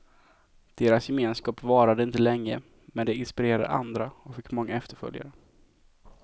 Deras gemenskap varade inte länge, men de inspirerade andra och fick många efterföljare.